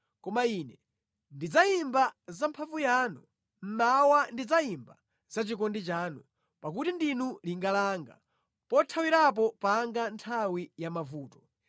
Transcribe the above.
Koma ine ndidzayimba za mphamvu yanu, mmawa ndidzayimba zachikondi chanu; pakuti ndinu linga langa, pothawirapo panga mʼnthawi ya mavuto.